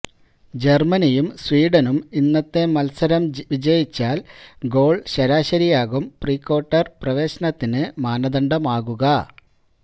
ജര്മനിയും സ്വീഡനും ഇന്നത്തെ മത്സരം വിജയിച്ചാല് ഗോള് ശരാശരിയാകും പ്രീക്വാര്ട്ടര് പ്രവേശനത്തിന് മാനദണ്ഡമാകുക